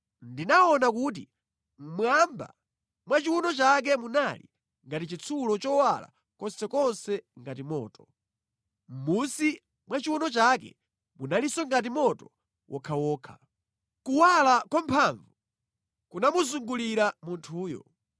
Ndinaona kuti mmwamba mwa chiwuno chake munali ngati chitsulo chowala konsekonse ngati moto. Mʼmunsi mwa chiwuno chake munalinso ngati moto wokhawokha. Kuwala kwa mphamvu kunamuzungulira munthuyo.